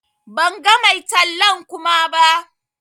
Ban gan mai tallan Kuma ba.